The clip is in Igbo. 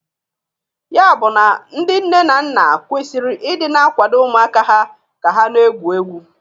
Ya bụ na ndị nne na nna kwesiri ị dị na akwado ụmụaka ha ka ha na-egwu egwu.